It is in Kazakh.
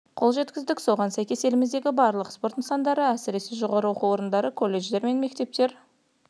қол жеткіздік соған сәйкес еліміздегі барлық спорт нысандары әсіресе жоғары оқу орындары колледждер мен мектептер